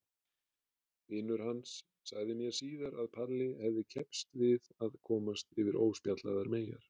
Vinur hans sagði mér síðar að Palli hefði keppst við að komast yfir óspjallaðar meyjar.